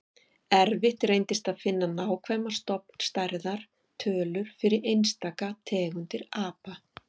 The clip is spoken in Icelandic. Erfitt reyndist að finna nákvæmar stofnstærðar tölur fyrir einstaka tegundir apa.